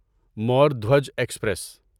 مور Dhwaj express